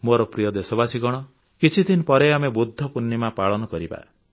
ମୋର ପ୍ରିୟ ଦେଶବାସୀଗଣ କିଛିଦିନ ପରେ ଆମେ ବୁଦ୍ଧ ପୂର୍ଣ୍ଣିମା ପାଳନ କରିବା